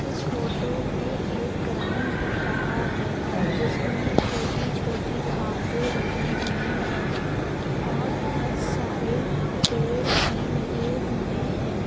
इस फोटो में एक ग्राउंड दिख रहा है जिसमें छोटी छोटी घासे लगी हुई है और बहुत सारे पेड़ भी लगे हुए हैं।